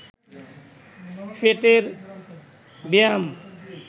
পেটের ব্যায়াম